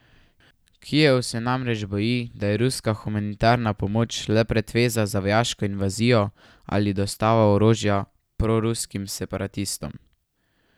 Kijev se namreč boji, da je ruska humanitarna pomoč le pretveza za vojaško invazijo ali dostavo orožja proruskim separatistom.